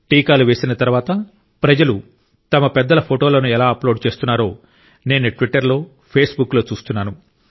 టీకాలు వేసిన తర్వాత ప్రజలు తమ పెద్దల ఫోటోలను ఎలా అప్లోడ్ చేస్తున్నారో నేను ట్విట్టర్ లో ఫేస్బుక్లో చూస్తున్నాను